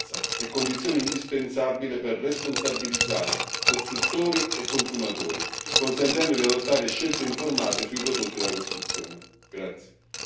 Questo elementare principio di trasparenza è condizione indispensabile per responsabilizzare costruttori e consumatori, consentendo di adottare scelte informate sui prodotti da costruzione.